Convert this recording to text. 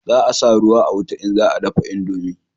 Za a sa ruwa a wuta in za a dafa indomi